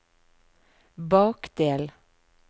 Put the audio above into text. bakdel